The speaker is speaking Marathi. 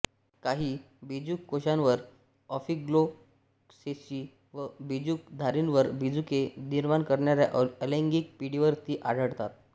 काही बीजुककोशांवर ऑफिओग्लॉसेसी व बीजुकधारींवर बीजुके निर्माण करणाऱ्या अलैंगिक पिढीवर ती आढळतात